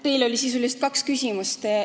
Teil oli sisuliselt kaks küsimust.